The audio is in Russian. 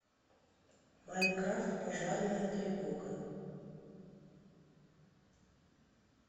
майнкрафт пожарная тревога